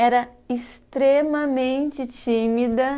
Era extremamente tímida.